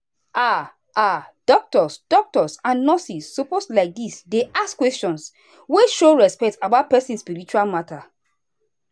ah ah doctors doctors and nurses suppose like this dey ask questions wey show respect about person spiritual matter.